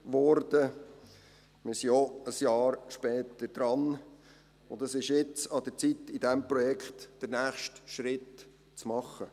Wir sind ein Jahr später dran, und es ist nun an der Zeit, in diesem Projekt den nächsten Schritt zu machen.